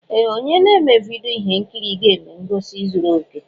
Ee! Onye na-eme vidyo ihe nkiri ga-eme ngosi zuru okè.